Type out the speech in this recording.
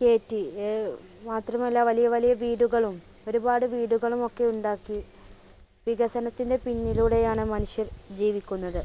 കേറ്റി അഹ് മാത്രമല്ല വലിയ വലിയ വീടുകളും ഒരുപാട് വീടുകളും ഒക്കെയുണ്ടാക്കി വികസനത്തിന്റെ പിന്നിലൂടെയാണ് മനുഷ്യർ ജീവിക്കുന്നത്